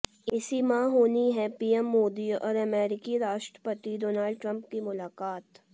इसी माह होनी है पीएम मोदी और अमेरिकी राष्ट्रपति डोनाल्ड ट्रंप की मुलाकात